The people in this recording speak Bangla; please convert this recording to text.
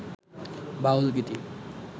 বাউল গীতি